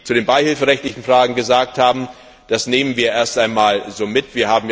Was Sie zu den beihilferechtlichen Fragen gesagt haben, nehmen wir erst einmal so mit.